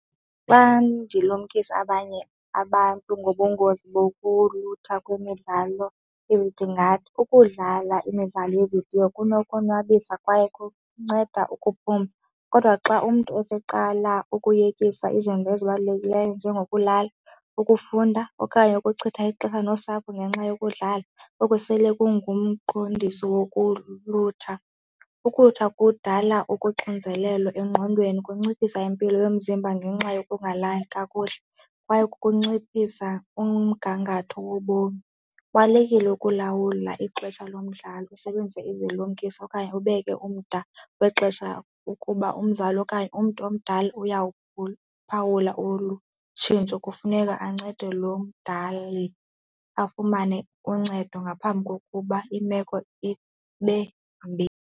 Xa ndilumkise abanye abantu ngobungozi bokulutha kwemidlalo ndingathi ukudlala imidlalo yeevidiyo kunokonwabisa kwaye kunceda ukuphuma kodwa kubo xa umntu eseqala ukuyekiswa izinto ezibalulekileyo njengokulala, ukufunda okanye ukuchitha ixesha nosapho ngenxa yokudlala oku sele kungumnqondiso wokulutha. Ukulutha kudala ukuxinzelelo engqondweni, kunciphisa impilo yomzimba ngenxa yokungalali kakuhle kwaye kunciphisa umgangatho wobomi. Kubalulekile ukulawula ixesha lomdlalo usebenzise izilumkiso okanye ubeke umda wexesha kude ukuba umzali okanye umntu omdala uyawuphula phawula olu tshintsho, kufuneka ancede lo omdala afumane uncedo ngaphambi kokuba imeko ibe mbi.